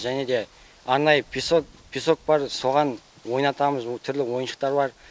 және де арнайы песок бар соған ойнатамыз түрлі ойыншықтар бар